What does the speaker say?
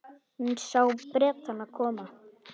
Hún sá Bretana koma.